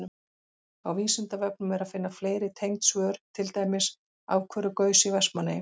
Á Vísindavefnum er að finna fleiri tengd svör, til dæmis: Af hverju gaus í Vestmannaeyjum?